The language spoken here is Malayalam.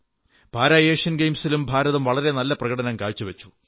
പാരാഏഷ്യൻ ഗയിംസിലും ഭാരതം വളരെ നല്ല പ്രകടനം കാഴ്ചവച്ചു